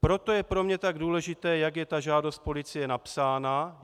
Proto je pro mě tak důležité, jak je ta žádost policie napsána.